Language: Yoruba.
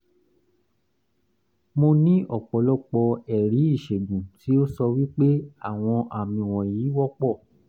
mo ní ọ̀pọ̀lọpọ̀ ẹ̀rí ìṣègùn tí ó sọ wí pé àwọn àmì wọ̀nyí wọ́pọ̀